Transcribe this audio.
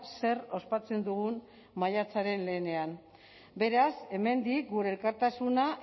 zer ospatzen dugun maiatzaren lehenean beraz hemendik gure elkartasuna